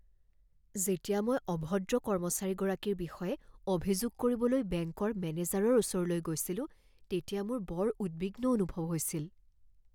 যেতিয়া মই অভদ্ৰ কৰ্মচাৰীগৰাকীৰ বিষয়ে অভিযোগ কৰিবলৈ বেংকৰ মেনেজাৰৰ ওচৰলৈ গৈছিলো তেতিয়া মোৰ বৰ উদ্বিগ্ন অনুভৱ হৈছিল।